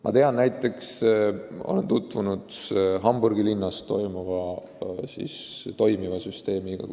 Ma olen näiteks tutvunud Hamburgi linnas toimiva süsteemiga.